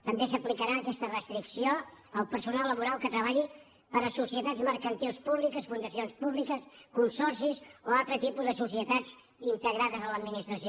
també s’aplicarà aquesta restricció al personal laboral que treballi per a societats mercantils públiques fundacions públiques consorcis o altres tipus de societats integrades a l’administració